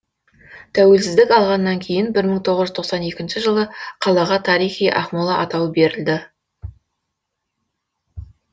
тәуелсіздік алғаннан кейін бір мың тоғыз жүз тоқсан екінші жылы қалаға тарихи ақмола атауы берілді